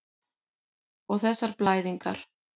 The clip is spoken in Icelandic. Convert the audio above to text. Og þessar blæðingar.